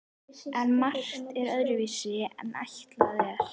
En margt fer öðruvísi en ætlað er.